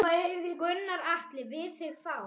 Gunnar Atli: Við þig þá?